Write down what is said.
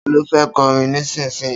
Ta ló fẹ́ kọrin nísinsìnyí?